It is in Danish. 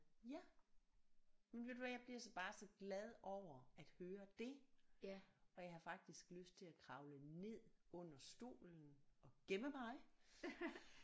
Ja jamen ved du hvad jeg bliver så bare så glad over at høre det og jeg har faktisk lyst til at kravle ned under stolen og gemme mig